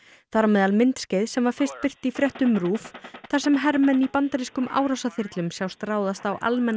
þar á meðal myndskeið sem fyrst var birt í fréttum RÚV þar sem hermenn í bandarískum sjást ráðast á almenna